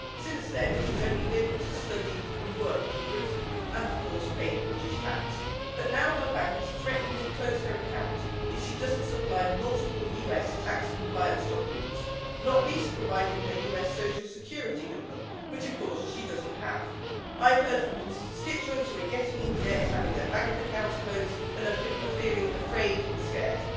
Since then, she's only lived studied and worked in Britain and, of course, paid British tax, but now her bank is threatening to close her account if she doesn't supply multiple US tax compliance documents, not least providing her US Social Security number, which of course she doesn't have. I have heard from constituents who are getting into debt, having their bank accounts closed and are feeling afraid and scared.